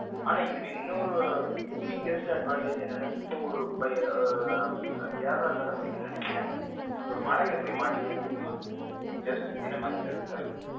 ஆனா இதுல இன்னொன்ன biggest advantage என்னன்னா இப்போ ஒரு கேரளாக்கார பையன் நினைக்கிறேன் ஒரு மலையில் போய் மாட்டிக்கிட்டான் தெரியுமா just within a month தான் இருக்கும்.